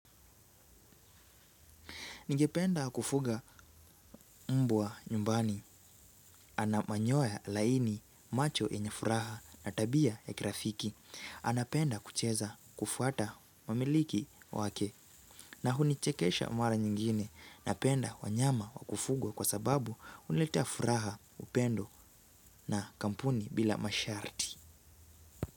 Nigependa kufuga mbwa nyumbani anamanyoya laini macho yenye furaha na tabia ya kirafiki. Anapenda kucheza kufuata mamiliki wake na hunichekesha mara nyingine napenda wanyama wakufuga kwa sababu huleta furaha upendo na kampuni bila masharti.